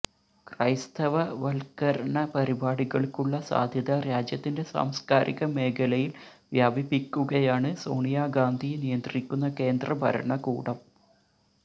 ക്രൈസ്തവവത്ക്കരണ പരിപാടികള്ക്കുള്ള സാധ്യത രാജ്യത്തിന്റെ സാംസ്ക്കാരിക മേഖലയില് വ്യാപിപ്പിയ്ക്കുകയാണ് സോണിയാഗാന്ധി നിയന്ത്രിക്കുന്ന കേന്ദ്രഭരണകൂടം